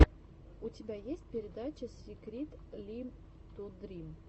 у тебя есть передача сикритлитудрим